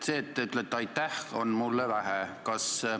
Sellest, et te ütlete aitäh, on mulle vähe.